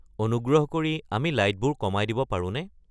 অনুগ্ৰহ কৰি আমি লাইটবোৰ কমাই দিব পাৰোঁনে